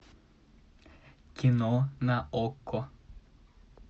кино на окко